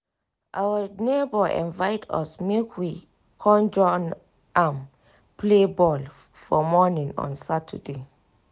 our neighbor invite us make we con join am play ball for morning on saturday